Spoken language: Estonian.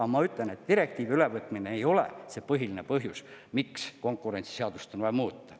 Aga ma ütlen, et direktiivi ülevõtmine ei ole see põhiline põhjus, miks konkurentsiseadust on vaja muuta.